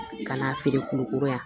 Ka n'a feere kulukoro yan